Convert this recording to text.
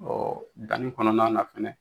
Ɔ danni kɔnɔna na kosɛbɛ